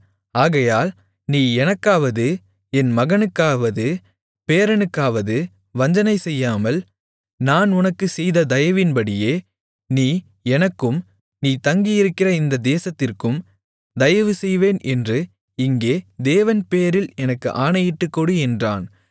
ஆகையால் நீ எனக்காவது என் மகனுக்காவது பேரனுக்காவது வஞ்சனை செய்யாமல் நான் உனக்குச் செய்த தயவின்படியே நீ எனக்கும் நீ தங்கியிருக்கிற இந்தத் தேசத்திற்கும் தயவு செய்வேன் என்று இங்கே தேவன் பேரில் எனக்கு ஆணையிட்டுக்கொடு என்றான்